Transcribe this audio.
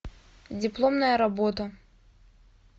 дипломная работа